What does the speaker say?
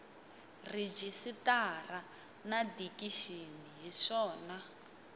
rejistara na dikixini hi swona